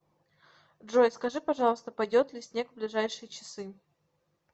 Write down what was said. джой скажи пожалуйста пойдет ли снег в ближайшие часы